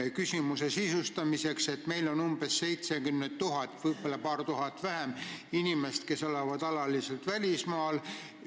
Aga küsimuse sisustamiseks veel nii palju, meil on umbes 70 000 – võib-olla paar tuhat vähem – inimest, kes elavad alaliselt välismaal.